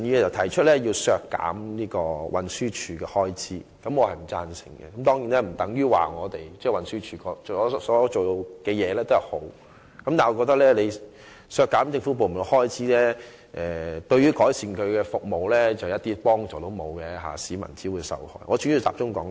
陳志全議員要求削減運輸署的預算開支，對此我並不贊成，但這並不等於運輸署表現優秀，我只是認為削減政府部門的預算開支，對於改善其服務將毫無幫助，只會令市民受害。